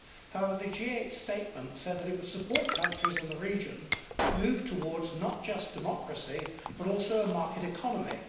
However, the G8 statement said that it would support countries in the region that move towards not just democracy, but also a market economy.